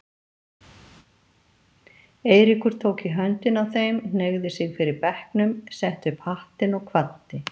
Eiríkur tók í höndina á þeim, hneigði sig fyrir bekknum, setti upp hattinn og kvaddi.